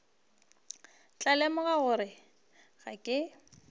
tla lemoga gore ga ke